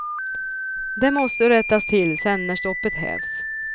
Det måste rättas till sen när stoppet hävs.